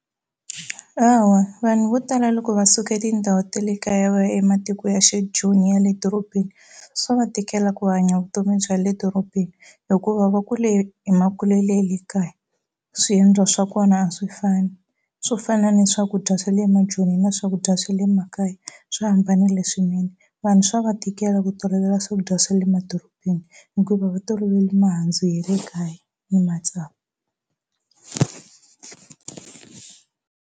Hawa vanhu vo tala loko va suka etindhawu ta le kaya va ya ematiko ya xi Joni ya le dorobeni swa va tikela ku hanya vutomi bya le dorobeni hikuva va kule hi makulele ye le kaya swiendlo swa kona a swi fani swo fana ni swakudya swa le maJoni na swakudya swa le makaya swi hambanile swinene vanhu swa va tikela ku tolovela swakudya swa le madorobeni hikuva va tolovele mihandzu ye le kaya ni matsavu.